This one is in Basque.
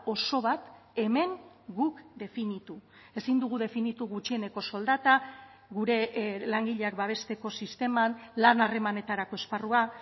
oso bat hemen guk definitu ezin dugu definitu gutxieneko soldata gure langileak babesteko sisteman lan harremanetarako esparrua